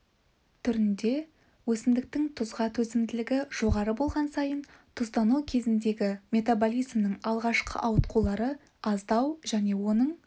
түрінде өсімдіктің тұзға төзімділігі жоғары болған сайын тұздану кезіндегі метаболизмнің алғашқы ауытқулары аздау және оның